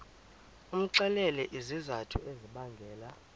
umxelele izizathu ezibangela